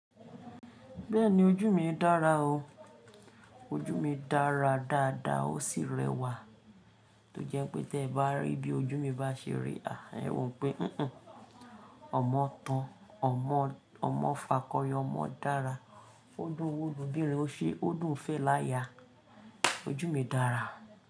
Bẹ́ẹ̀ni ojú mi dára o. Ojú mi dára dáadáa ó sì rẹwà tó jẹ́ pé tí ẹ bá rí bí ojú mi bá ṣe rí, ẹ wo wípé "híhán, ọmọ tán, ọmọ fakọyọ, ọmọ dára, ó dún owó lobìnrin, ó ṣé ó dùn fẹ́ láya". Ojú mi dára.